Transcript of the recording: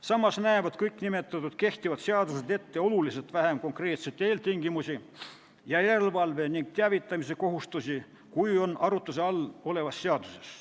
Samas näevad kõik nimetatud kehtivad seadused ette oluliselt vähem konkreetseid eeltingimusi ning järelevalve ja teavitamise kohustusi, kui on arutluse all olevas seaduses.